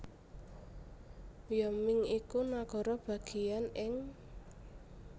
Wyoming iku nagara bagéyan ing